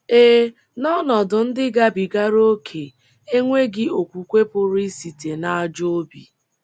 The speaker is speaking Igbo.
Ee, n’ọnọdụ ndị gabigara ókè, enweghị okwukwe pụrụ isite n’ajọ obi.